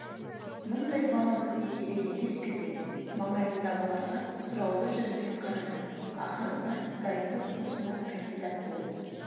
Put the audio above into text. мұндай бала бізге керек емес пе деп маңайындағыларға сұраулы жүзбен қарады ақырында дайындық курсына кандидат болып